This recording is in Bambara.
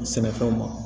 Sɛnɛfɛnw ma